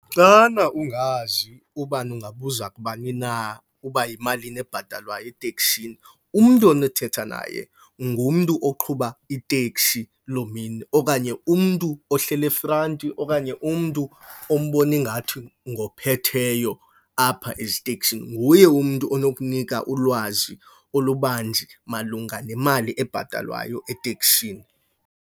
Xana ungazi uba ndingabuza kubani na uba yimalini ebhatalwayo eteksini umntu onothetha naye ngumntu oqhuba iteksi loo mini okanye umntu ohleli efranti okanye umntu ombona ingathi ngophetheyo apha eziteksini. Nguye umntu onokunika ulwazi olubanzi malunga nemali ebhatalwayo eteksini.